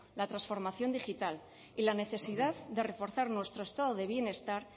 la transformación digital y la necesidad de reforzar nuestro estado de bienestar